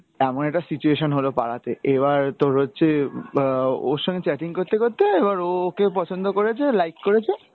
এমন একটা situation হলো পাড়াতে, এবার তোর হচ্ছে আহ ওর সঙ্গে chatting করতে করতে এবার ও ওকে পছন্দ করেছে, like করেছে।